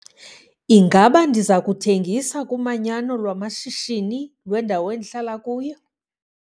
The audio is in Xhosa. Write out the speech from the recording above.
Ingaba ndiza kuthengisa kumanyano lwamashishini lwendawo endihlala kuyo?